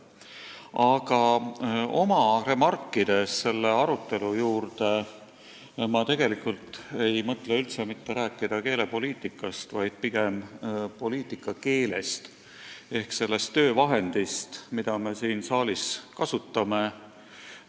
Aga oma remarkides selle arutelu kõrvale ma ei mõtle üldse mitte rääkida keelepoliitikast, vaid pigem poliitika keelest ehk sellest töövahendist, mida me siin saalis kasutame.